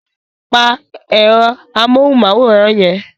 Pa ẹ̀rọ amóhùmáwòhán yẹn!